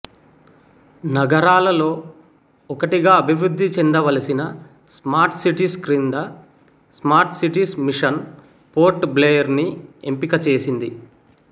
నగరాలలో ఒకటిగా అభివృద్ధి చెందవలసిన స్మార్ట్ సిటీస్ క్రింద smart cities mission Port Blair ను ఎంపిక చేసింది